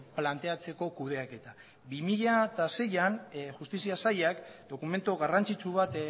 planteatzeko kudeaketa bi mila seian justizia sailak dokumentu garrantzitsu bat